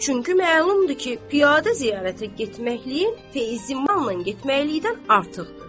Çünki məlumdur ki, piyada ziyarətə getməkləyin feyzi manlan getməklikdən artıqdır.